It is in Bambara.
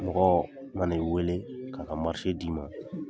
Mɔgɔ ma ni wele'a ka d'i ma.